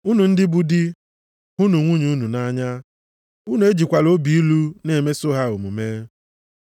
Unu ndị bụ di, hụnụ nwunye unu nʼanya, unu ejikwala obi ilu na-emeso ha omume.